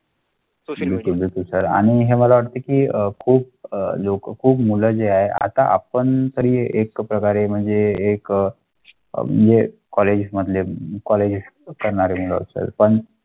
Sir आणि मला वाटते की जो खूप मुलं जे आता आपण तुम्ही एकप्रकारे म्हणजे एक कॉलेजमधले कॉलेज.